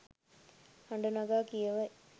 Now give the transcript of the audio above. හඬ නගා කියවයි